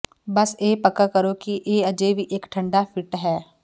ਬਸ ਇਹ ਪੱਕਾ ਕਰੋ ਕਿ ਇਹ ਅਜੇ ਵੀ ਇੱਕ ਠੰਡਾ ਫਿਟ ਹੈ